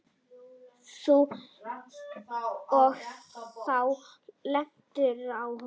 Og þú lentir á honum?